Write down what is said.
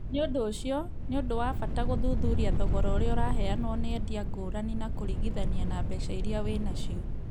Nĩ ũndũ ũcio, nĩ ũndũ wa bata gũthuthuria thogora ũrĩa ũraheanwo nĩ endia ngũrani na kũringithania na mbeca iria wĩ na cio.